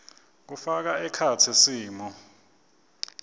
kufaka ekhatsi simo